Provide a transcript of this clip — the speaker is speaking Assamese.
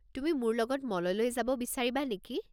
তুমি মোৰ লগত মললৈ যাব বিচাৰিবা নেকি?